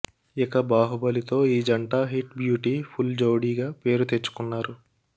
ఇక బాహుబలి తో ఈ జంట హిట్ బ్యూటీ ఫుల్ జోడిగా పేరు తెచ్చుకున్నారు